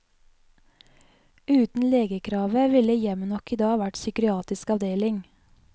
Uten legekravet ville hjemmet nok i dag vært psykiatrisk avdeling.